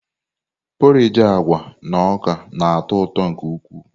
Porrage agwa na ọka na-atọ ụtọ nke ukwuu.